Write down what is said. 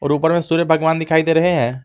और ऊपर में सूर्य भगवान दिखाई दे रहे हैं।